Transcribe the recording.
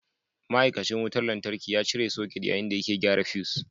Ma'aikacin wutar lantarki ya cire soket yayin da yake gyara fus.